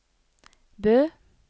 Bø